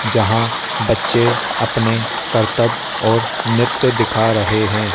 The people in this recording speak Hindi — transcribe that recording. यहां बच्चे अपने करतब और नित्य दिखा रहे हैं।